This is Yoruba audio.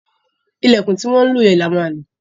Ìlẹ̀kùn tí wọ́n lò yẹn la ma ma lò